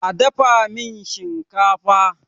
a dafa min shinkafa!